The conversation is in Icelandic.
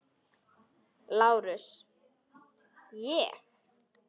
LÁRUS: Ég?